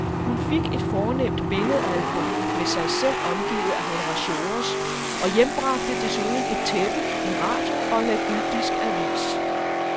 Hun fik et fornemt billedalbum med sig selv omgivet af honoratiores og hjembragte desuden et tæppe, en radio og en ægyptisk avis.